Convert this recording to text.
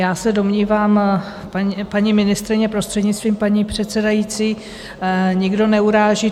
Já se domnívám, paní ministryně, prostřednictvím paní předsedající, nikdo neuráží.